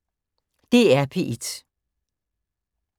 DR P1